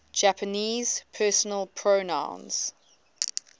japanese personal pronouns